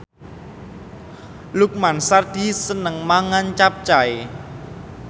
Lukman Sardi seneng mangan capcay